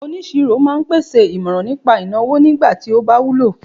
onisiro ma n pèsè imoran nipa ìnáwó nigba ti o ba wúlò